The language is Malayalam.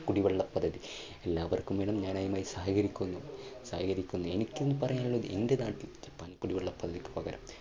കുടിവെള്ള പദ്ധതി എല്ലാവർക്കും വേണം ഞാൻ അതിന് സഹകരിക്കുന്നു, സഹകരിക്കുന്നു. എനിക്കും പറയാനുള്ളത് എന്റെ നാട്ടിൽ ജപ്പാൻ കുടിവെള്ള പദ്ധതി